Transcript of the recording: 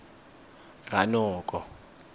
ranoko